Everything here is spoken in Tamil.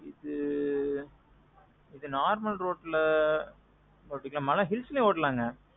இது. இது normal roadல. ஒட்டிக்குற மாறித்தான் ஆனா hills லேயும் ஓட்டிக்காலாம்ங்க.